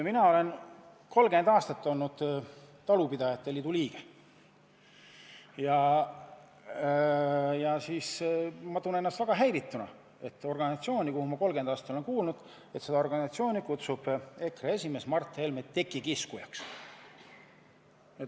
Ma olen 30 aastat olnud talupidajate liidu liige ja tunnen end väga häirituna, et organisatsiooni, millesse ma 30 aastat kuulunud olen, nimetab EKRE esimees Mart Helme tekikiskujaks.